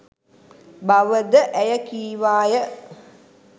බව ද ඇය කීවාය.